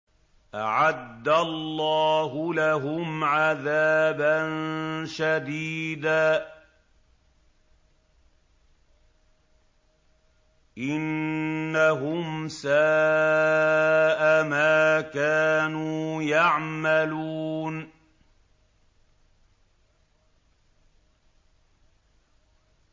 أَعَدَّ اللَّهُ لَهُمْ عَذَابًا شَدِيدًا ۖ إِنَّهُمْ سَاءَ مَا كَانُوا يَعْمَلُونَ